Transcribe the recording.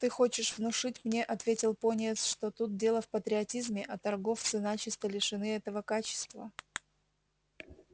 ты хочешь внушить мне ответил пониетс что тут дело в патриотизме а торговцы начисто лишены такого качества